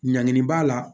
Ɲangini b'a la